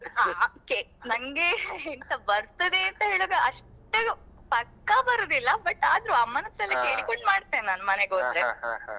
ಹಾ ನಂಗೆ ಎಂತ ಬರ್ತದೇ ಅಂತ ಹೇಳುವಾಗ ಅಷ್ಟು ಪಕ್ಕ ಬರುದಿಲ್ಲ but ಆದ್ರೂ ಅಮ್ಮನತ್ರ ಎಲ್ಲ ಕೇಳಿಕೊಂಡು ಮಾಡ್ತೇನೆ ನಾನು ಮನೆಗೋದ್ರೆ.